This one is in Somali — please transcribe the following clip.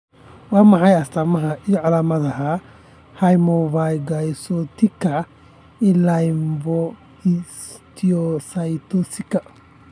Waa maxay astamaha iyo calaamadaha Hemophagocytika lymphohistiocytosika?